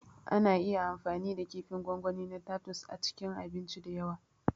Ana iya amfani da kifin gwangwani na tatus a abinci da yawa